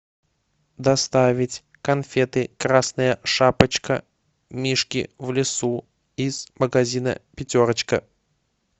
доставить конфеты красная шапочка мишки в лесу из магазина пятерочка